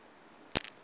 muvhundu